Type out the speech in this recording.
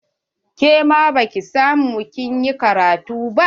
Ke ma baki samu kin yi ƙaratun ba?